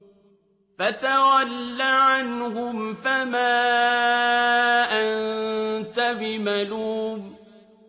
فَتَوَلَّ عَنْهُمْ فَمَا أَنتَ بِمَلُومٍ